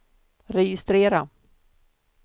registrera